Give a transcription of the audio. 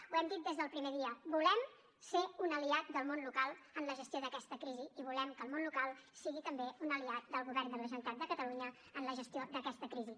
ho hem dit des del primer dia volem ser un aliat del món local en la gestió d’aquesta crisi i volem que el món local sigui també un aliat del govern de la generalitat de catalunya en la gestió d’aquesta crisi